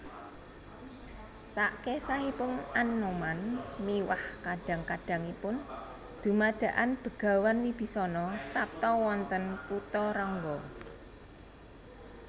Sakesahipun Anoman miwah kadang kadangipun dumadakan Begawan Wibisana prapta wonten Kutharangga